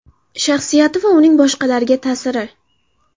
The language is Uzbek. Shaxsiyati va uning boshqalarga ta’siri.